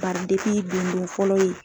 fɔlɔ ye